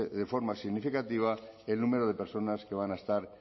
de forma significativa el número de personas que van a estar